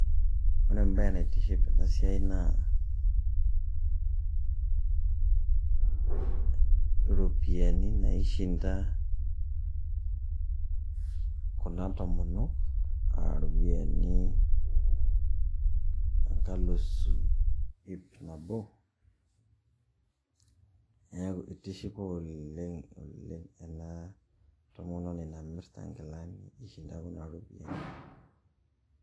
Ore embaye naitiship tena siai naa iropiani naishinda kuna tomonok, a ropiani enkalusu ip nabo, neeku itishipa oleng' ena tomononi namirita nkilani ishinda kuna ropiani.